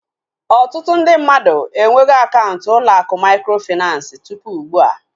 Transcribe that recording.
Ọtụtụ ndị mmadụ enwego akaụntụ ụlọ akụ mikrofinansi tụpụ ugbua